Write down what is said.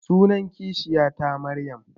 Sunan kishiya ta Maryam